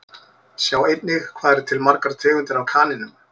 Sjá einnig Hvað eru til margar tegundir af kanínum?